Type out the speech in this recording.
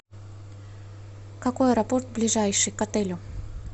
какой аэропорт ближайший к отелю